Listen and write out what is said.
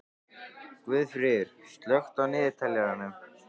Guðfríður, slökktu á niðurteljaranum.